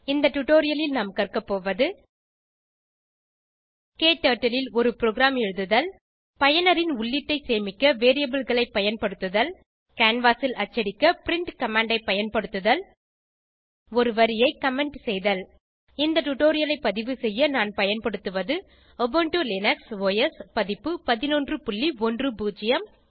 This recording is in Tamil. இந்த டுடோரியலில் நாம் கற்க போவது க்டர்ட்டில் ல் ஒரு ப்ரோகிராம் எழுதுதல் பயனரின் உள்ளீட்டை சேமிக்க variableகளை பயன்படுத்துதல் கேன்வாஸ் ல் அச்சடிக்க பிரின்ட் கமாண்ட் ஐ பயன்படுத்துதல் ஒரு வரியை கமெண்ட் செய்தல் இந்த டுடோரியலைப் பதிவு செய்ய நான் பயன்படுத்துவது உபுண்டு லினக்ஸ் ஒஸ் பதிப்பு 1110